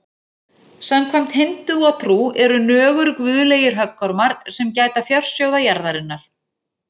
Samkvæmt hindúatrú eru nögur guðlegir höggormar sem gæta fjársjóða jarðarinnar.